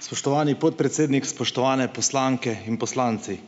Spoštovani podpredsednik, spoštovane poslanke in poslanci.